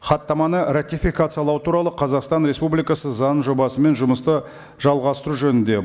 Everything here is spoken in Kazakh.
хаттаманы ратификациялау туралы қазақстан республикасы заңының жобасымен жұмысты жалғастыру жөнінде